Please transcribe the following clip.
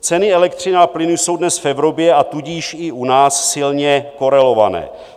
Ceny elektřiny a plynu jsou dnes v Evropě, a tudíž i u nás silně korelované.